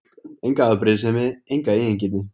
Enga afbrýðisemi, enga eigingirni.